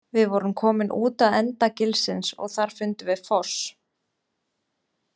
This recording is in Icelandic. Við vorum komin út að enda gilsins, og þar fundum við foss.